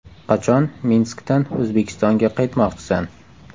Qachon Minskdan O‘zbekistonga qaytmoqchisan?